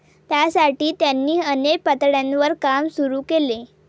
त्यासाठी त्यांनी अनेक पातळ्यांवर काम सुरू केले.